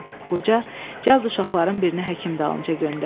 Qoca cəld uşaqların birini həkim dalınca göndərdi.